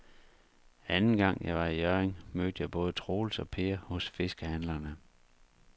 Anden gang jeg var i Hjørring, mødte jeg både Troels og Per hos fiskehandlerne.